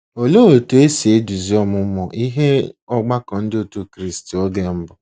Olee otú e si na-eduzi ọmụmụ ihe n’ọgbakọ Ndị Otú Kristi oge mbụ?